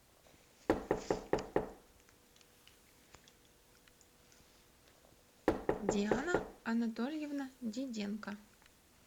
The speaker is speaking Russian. диана анатольевна диденко